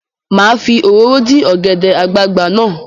Mà á fi òróró dín ọ̀gẹ̀dẹ̀ àgbagbà náà.